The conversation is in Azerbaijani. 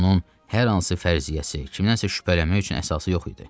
Onun hər hansı fərziyyəsi, kimdənsə şübhələnmək üçün əsası yox idi.